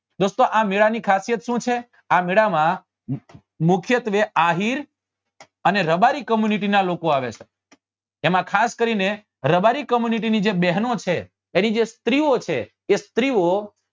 દોસ્તો આ મેળા ની ખાસિયત શું છે આ મેળા માં મુખ્યત્વે આહીર અને રબારી community નાં લોકો આવે છે એમાં ખાસ કરી ને રાબરી community ની જે બહેનો જે છે એની જે સ્ત્રીઓ છે એ સ્ત્રીઓ